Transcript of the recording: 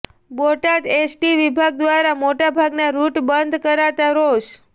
Botad ST વિભાગ દ્વારા મોટાભાગના રૃટ બંધ કરાતા રોષ